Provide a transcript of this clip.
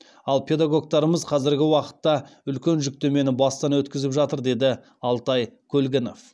ал педагогтарымыз қазіргі уақытта үлкен жүктемені бастан өткізіп жатыр деді алтай көлгінов